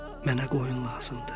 Mənə qoyun lazımdır.